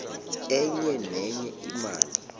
enye nenye imali